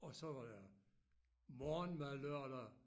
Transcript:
Og så var der morgenmad lørdag